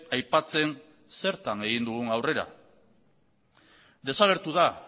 aipatzen zertan egin dugun aurrera desagertu da